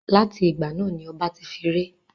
Láti ìgbà náà ni ọba ti fi ré.